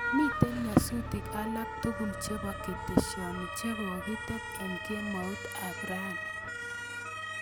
Miten nyasutik alak tugul chebo ketesiani chegogitet en kemout ab rani